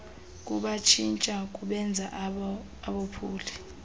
kubatshintsha kubenze abophuli